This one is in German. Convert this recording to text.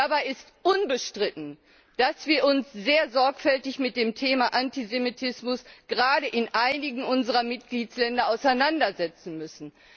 Dabei ist unbestritten, dass wir uns sehr sorgfältig mit dem Thema Antisemitismus gerade in einigen unserer Mitgliedstaaten auseinandersetzen müssen.